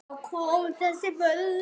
Hvaðan koma þessi völd?